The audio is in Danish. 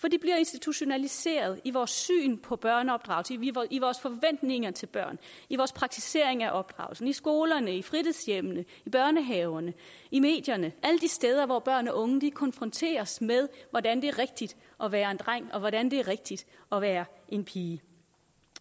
for de bliver institutionaliseret i vores syn på børneopdragelse i vores forventninger til børn i vores praktisering af opdragelsen i skolerne i fritidshjemmene i børnehaverne i medierne alle de steder hvor børn og unge konfronteres med hvordan det er rigtigt at være en dreng og hvordan det er rigtigt at være en pige